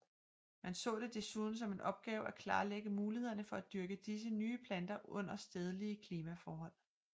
Man så det desuden som en opgave at klarlægge mulighederne for at dyrke disse nye planter under stedlige klimaforhold